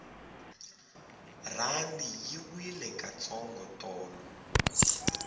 rhandi yi wile ka ntsongo tolo